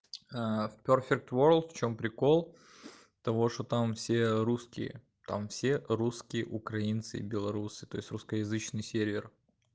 пёрфект ворлд в чём прикол того что там все русские там все русские украинцы и белорусы та есть русскоязычный сервер